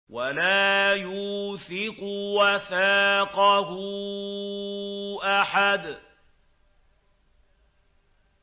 وَلَا يُوثِقُ وَثَاقَهُ أَحَدٌ